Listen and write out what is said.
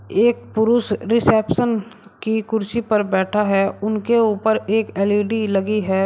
एक पुरुष रिसेप्शन की कुर्सी पर बैठा है। उनके ऊपर एक एल_इ_डी लगी है।